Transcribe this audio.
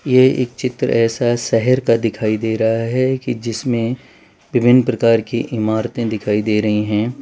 ये एक चित्र ऐसा शहर का दिखाई दे रहा है कि जिसमें विभिन्न प्रकार की इमारतें दिखाई दे रही हैं।